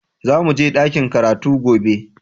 Za mu je dakin karatu gobe